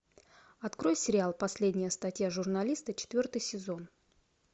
открой сериал последняя статья журналиста четвертый сезон